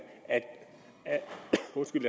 at